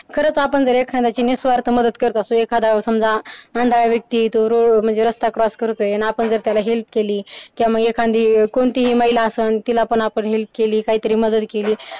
खरंच आपण जर एखाद्याची निस्वार्थ मदत करत असू एखादा समजा आंधळा व्यक्ती आहे तो road वर रस्ता cross करतो आणि आपण जर त्याला help केली किंवा मग एखादी कोणतीही महिला असेल तिला पण आपण help केली मदत केली.